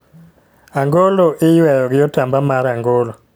Angolo iyweyo gi otamba mar angolo